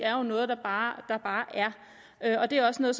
er jo noget der bare er og det er også noget